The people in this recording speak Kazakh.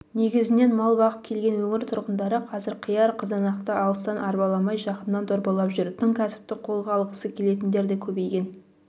негізінен мал бағып келген өңір тұрғындары қазір қияр қызанақты алыстан арбаламай жақыннан дорбалап жүр тың кәсіпті қолға алғысы келетіндер де көбейген